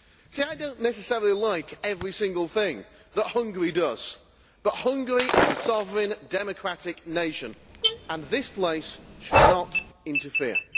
I do not necessarily like every single thing that Hungary does, but Hungary is a sovereign, democratic nation and this place should not interfere.